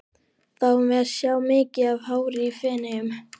Fáum við að sjá mikið af hári í Feneyjum?